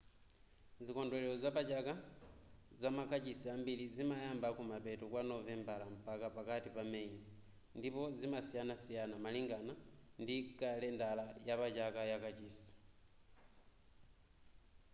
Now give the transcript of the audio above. zikondwelero zapachaka zamakachisi ambiri zimayamba kumapeto kwa novembala mpaka pakati pa meyi ndipo zimasiyanasiyana malingana ndi kalendala yapachaka ya kachisi